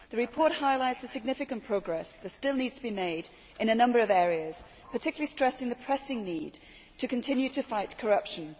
The report highlights the significant progress that still needs to be made in a number of areas, particularly stressing the pressing need to continue to fight corruption.